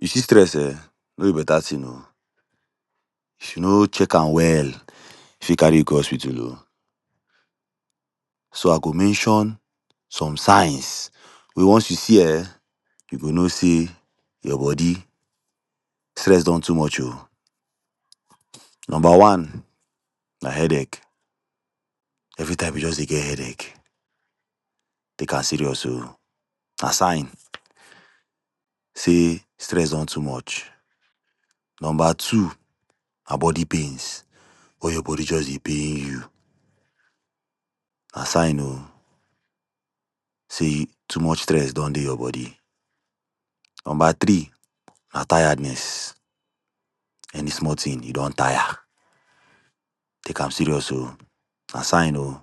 You see stress um no be better thing oh, if you no check am well, e fit carry you go hospital oh, so I go mention some signs wey once you see, um you go know sey your body, stress don too much oh, number one, na headache, everytime you just dey get headache, take am serious oh, na sign sey stress don too much, number two, na body pains wen your body just dey pain you, na sign oh, sey too much stress don dey your body, number three na tiredness, any small thing, you don tire, take am serious oh, na sign oh,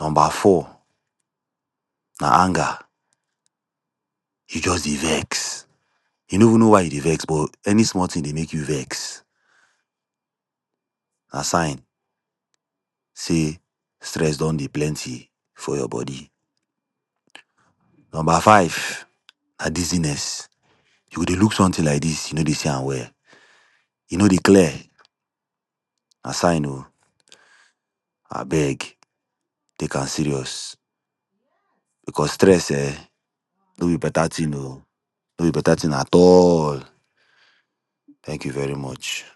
number four, na anger, you just dey vex, you no even know why you dey vex, but any small thing dey make you vex, na sign sey stress don dey plenty for your body, number five na dizziness, you go dey look something like dis, you no dey see am well, e no dey clear, na sign oh, abeg take am serious, because stress um no be better thing oh, no be better thing at all. Thank you very much.